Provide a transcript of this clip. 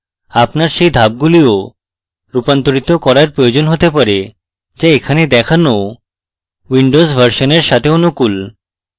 আপনার সেই ধাপগুলিও রূপান্তরিত করার প্রয়োজন হতে পারে যা এখানে দেখানো windows version সাথে অনুকূল